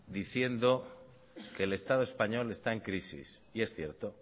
diciendo que el estado español está en crisis y es cierto